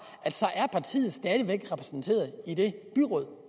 at partiet stadig væk er repræsenteret i det byråd